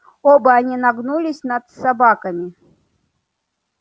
оба они нагнулись над собаками